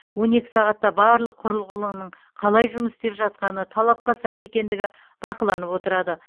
он екі сағатта барлық құрылғынының қалай жұмыс істеп жатқаны талапқа сай екендігі бақыланып отырады